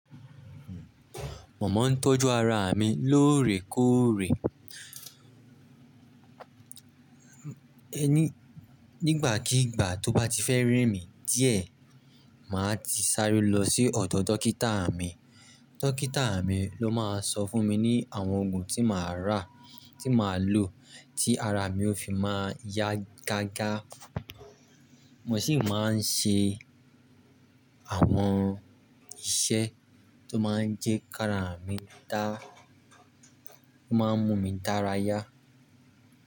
Mo máa ń tọ́jú ara mi lóòrèkóòrè. Nígbàkigbà tó bá ti fẹ́ rẹ mi díẹ̀, màá ti sáré lọ sí ọ̀dọ̀ dókítà mi. Dọ́kítà mi ló máa ń sọ fún mi ní àwọn ògùn tí màá rà, tí màá lò tí ara mi ó fi máa yá gágá. Mo sì máa ń ṣe àwọn iṣẹ́ tó máa ń jẹ́ ká ara mi dá, tó máa ń mú mi dárayá.